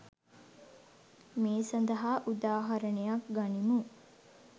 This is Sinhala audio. මේ සඳහා උදාහරණයක් ගනිමු